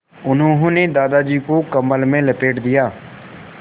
उन्होंने दादाजी को कम्बल में लपेट दिया